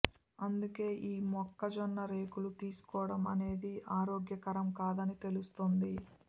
అందుకే ఈ మొక్క జొన్న రేకులు తీస్కోడం అనేది ఆరోగ్యకరం కాదని తెలుస్తోంది